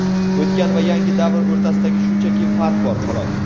o‘tgan va yangi davr o‘rtasida shunchaki farq bor, xolos.